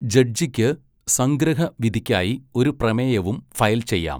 ജഡ്ജിക്ക് സംഗ്രഹ വിധിക്കായി ഒരു പ്രമേയവും ഫയൽ ചെയ്യാം.